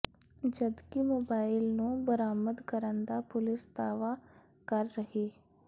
ਜਦਕਿ ਮੋਬਾਈਲ ਨੂੰ ਬਰਾਮਦ ਕਰਨ ਦਾ ਪੁਲਿਸ ਦਾਅਵਾ ਕਰ ਰਹੀ